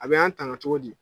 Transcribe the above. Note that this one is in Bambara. A bɛ an tagan cogo di.